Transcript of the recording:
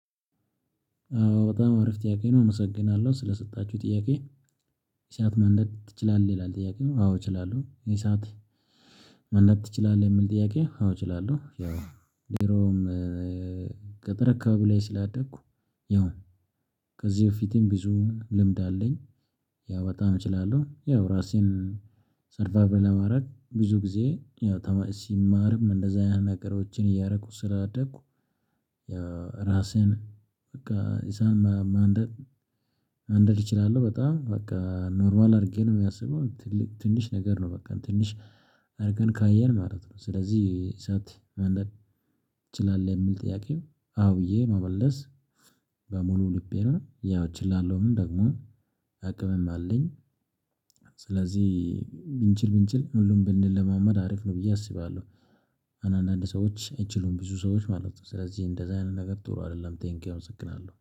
በጣም አረፍ ጥያቄ ነው እመሰግናለሁ ስለሰጣችሁ ጥያቄ። እሳት ማንደድ ትችላለህ ይላል? ጥያቄው አዎ እችላለሁ ይሄ ሰዓት ማንደድ ትችላል አለ። የምል ጥያቄ? አዎ እችላለሁ። ያው ድሮም ገጠር አካባቢ ላይ ስላደኩ። ያው ከዚህ በፊቴም ብዙ ልምድ አለኝ። ያው በጣም እችላለሁ ያው ራሴን ሰርቫይቭ ለማድረግ ብዙ ጊዜ ያው ተማሪ ሲማርም እንደዛ አይነት ነገሮችን እያደረከ ስላደኩ። ያው ራስህን በቃ ኢሳትማንደር ማንደድ እችላለሁ። በጣም በቃ ኖርዋል አድርጌ ነው የሚያስበው ትልቅ ትንሽ ነገር ነው። በቃ ትንሽ አድርገን ካየን ማለት ነው። ስለዚህ እሳት ማንደድ ትችላለህ የሚል ጥያቄ? አዎ ብዬ መመለስ በሙሉ ልቤ ነው። ያው እችላለሁ ደግሞ አቅምም አለኝ። ስለዚህ ብንችል ብንችል ሁሉም ብንለማመድ አሪፍ ነው ብዬ አስባለሁ። አሁን አንዳንድ ሰዎች አይችሉም ብዙ ሰዎች ማለት ነው። ስለዚህ እንደዛ አይነት ነገር ጥሩ አይደለም። ቴንኪው አመሰግናለሁ